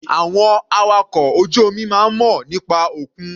Àwọn awakọ̀ ojú omi máa ń mọ̀ nípa òkun.